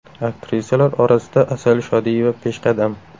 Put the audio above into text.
Aktrisalar orasida Asal Shodiyeva peshqadam.